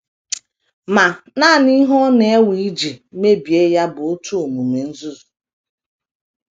Ma, nanị ihe ọ na - ewe iji mebie ya bụ otu omume nzuzu.